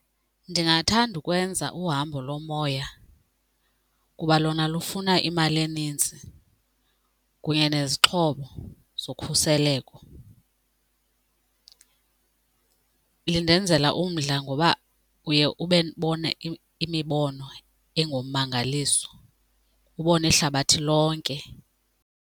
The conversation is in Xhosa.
Ndingathanda ukwenza uhambo lomoya kuba lona lufuna imali enintsi kunye nezixhobo zokhuseleko. Lindenzela umdla ngoba uye ube ndibone imibono engummangaliso ubone ihlabathi lonke.